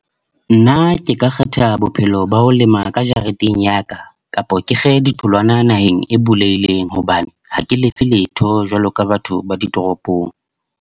Nna ke ka kgetha bophelo ba ho lema ka jareteng ya ka. Kapa ke kge di tholwana naheng e bulehileng, hobane ha ke lefe letho jwalo ka batho ba di toropong.